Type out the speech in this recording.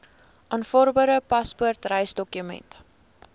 aanvaarbare paspoort reisdokument